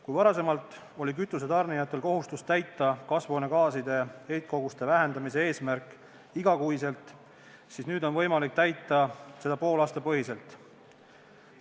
Kui varem oli kütuse tarnijatel kohustus täita kasvuhoonegaaside heitkoguste vähendamise eesmärk iga kuu, siis nüüd on võimalik täita seda poolaastapõhiselt.